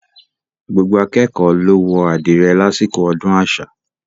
Gbogbo akékọ̀ọ́ ló wọ àdìrẹ lásìkò ọdún àṣà.